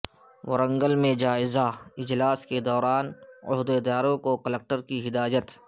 ورنگل میں جائزہ اجلاس کے دوران عہدیداروں کوکلکٹر کی ہدایت